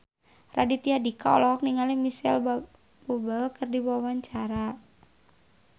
Raditya Dika olohok ningali Micheal Bubble keur diwawancara